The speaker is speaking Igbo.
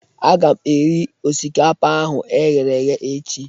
A ga m eri osikapa ahụ e ghere eghe echi